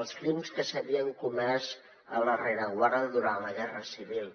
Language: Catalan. els crims que s’havien comès en la rereguarda durant la guerra civil